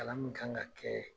Kalan min kan ka kɛ